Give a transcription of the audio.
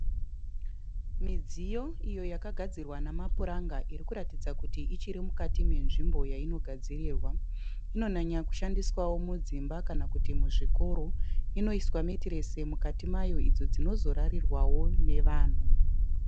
Midziyo iyo yakagadzirwa nemapuranga irikuratidza kuti ichiri mukati menzvimbo yainogadzirirwa. Inonyanya kushandiswawo mudzimba kana muzvikoro. Inoiswa metiresi mukati mayo iyo inozorarirwawo nevanhu.